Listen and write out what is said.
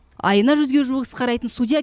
айына жүзге жуық іс қарайтын судья